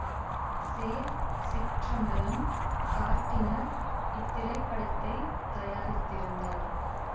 சேர் Chittampalam Gardiner இத்திரைப்படத்தைத் தயாரித்திருந்தார்